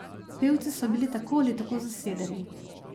Pevci so bili tako ali tako zasedeni.